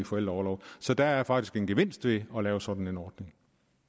forældreorlov så der er faktisk en gevinst ved at lave sådan en ordning